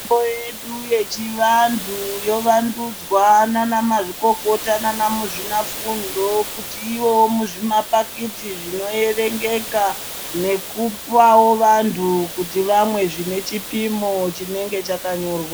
Yedu yechivantu yovandudzwa naana mazvikokota naana muzvinafundo kuti ivoo muzvimapakiti chinoerengeka nekupawo vantu kuti vamwe zvine chipimo chinenge chakanyorwa.